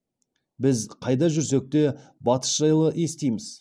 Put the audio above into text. біз қайда жүрсек те батыс жайлы естиміз